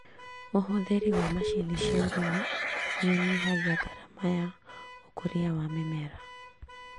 ũhũthĩri wa macini cia ũrĩmĩ nĩũnyihagia ngarama ya ũkũria wa mĩmera